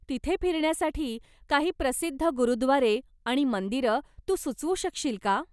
तिथे फिरण्यासाठी काही प्रसिद्ध गुरुद्वारे आणि मंदिरं तू सुचवू शकशील का?